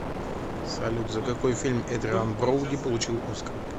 салют за какой фильм эдриан броуди получил оскар